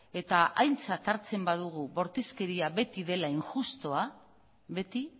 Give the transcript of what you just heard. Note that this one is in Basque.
eta aintzat hartzen badugu bortizkeria beti dela injustua beti